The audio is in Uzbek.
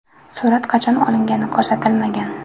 Surat qachon olingani ko‘rsatilmagan.